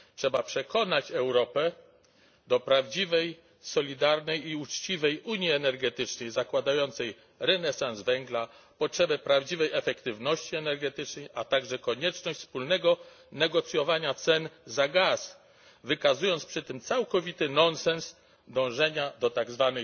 Trzeba przekonać Europę do prawdziwej, solidarnej i uczciwej Unii energetycznej zakładającej renesans węgla, potrzebę prawdziwej efektywności energetycznej, a także konieczność wspólnego negocjowania cen za gaz, wykazując przy tym całkowity nonsens dążenia do tzw.